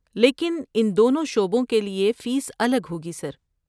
لیکن ان دونوں شعبوں کے لیے فیس الگ ہوگی، سر۔